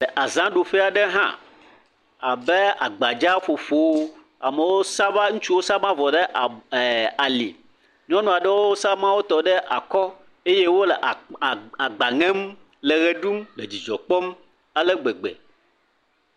Le azaɖuƒe aɖe hã abe agbadzaƒoƒo, amewo saba, ŋutsuwo saba avɔ ɖe ab…, ali, nyɔnuwo saba wotɔ ɖe akɔ, eye wole agb.., agb..,agb, agba ŋem le dzidzɔ kpɔm ale gbegbe.